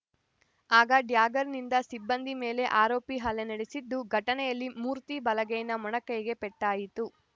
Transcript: ಆಗ ಡ್ಯಾಗರ್‌ನಿಂದ ಸಿಬ್ಬಂದಿ ಮೇಲೆ ಆರೋಪಿ ಹಲ್ಲೆ ನಡೆಸಿದ್ದು ಘಟನೆಯಲ್ಲಿ ಮೂರ್ತಿ ಬಲಗೈನ ಮೊಣಕೈಗೆ ಪೆಟ್ಟಾಯಿತು